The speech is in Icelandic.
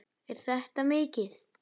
Er þetta mikið?